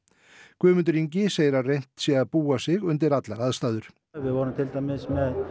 Guðmundur Ingi segir að reynt sé að búa sig undir allar aðstæður við vorum til dæmis með